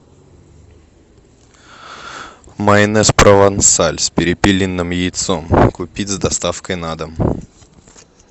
майонез провансаль с перепелиным яйцом купить с доставкой на дом